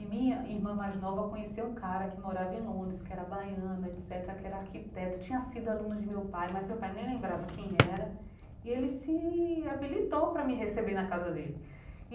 E minha irmã mais nova conheceu um cara que morava em Londres, que era baiano, etc cetera, que era arquiteto, tinha sido aluno de meu pai, mas meu pai nem lembrava quem era, e ele se habilitou para me receber na casa dele.